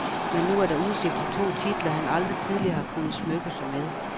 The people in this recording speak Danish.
Men nu er der udsigt til to titler, han aldrig tidligere har kunnet smykke sig med.